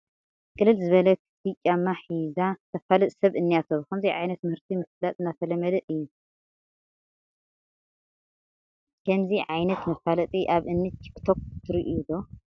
ቅልል ዝበለ ክፍቲ ጫማ ሒዛ ተፋልጥ ሰብ እኔቶ፡፡ ብኸምዚ ዓይነት ምህርቲ ምፍላጥ እናተለመደ እዩ፡፡ ከምዚ ዓይነት መፋለጢ ኣብ እኒ ቲክቶክ ትሪኡ ዶ?